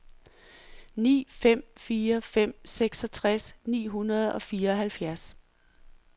ni fem fire fem seksogtres ni hundrede og fireoghalvfjerds